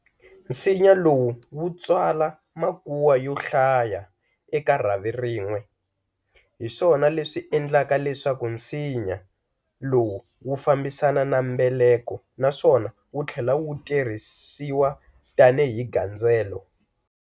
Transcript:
Nsinya lowu wu tswala makuwa yo hlaya eka rhavi rin'we, hiswona leswi endlaka leswaku nsinya lowu wu fambisana na mbeleko naswona wuthlela wu tirhisiwa tani hi gandzelo.